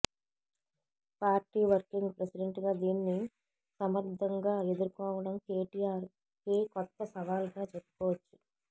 party working president గా దీన్ని సమర్థంగా ఎదుర్కోవడం కేటీఆర్ కి కొత్త సవాల్ గా చెప్పుకోవచ్చు